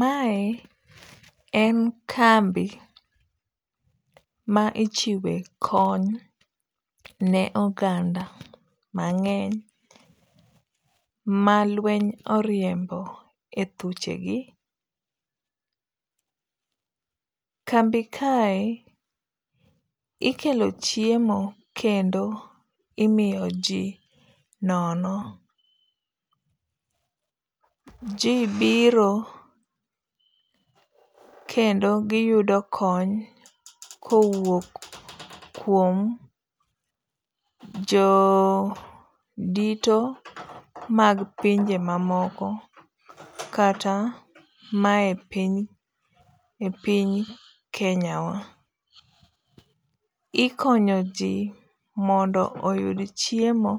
Mae en kambi ma ichiwe kony ne oganda mang'eny ma lweny oriembo e thuchegi. Kambi kae, ikelo chiemo kendo imiyo ji nono. Ji biro kendo giyudo kony kowuok kuom jodito mag pinje mamoko kata mae piny, e piny Kenyawa. Ikonyo ji mondo oyud chiemo